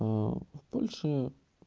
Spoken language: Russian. в польше